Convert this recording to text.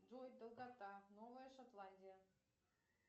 джой долгота новая шотландия